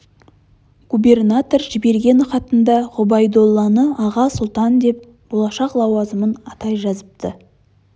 губернатор жіберген хатында ғұбайдолланы аға сұлтан деп болашақ лауазымын атай жазыпты